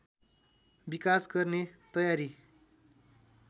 विकास गर्ने तयारी